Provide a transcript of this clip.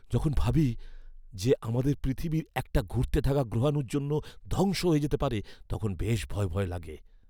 যখন ভাবি যে আমাদের পৃথিবী একটা ঘুরতে থাকা গ্রহাণুর জন্য ধ্বংস হয়ে যেতে পারে, তখন বেশ ভয় ভয় লাগে।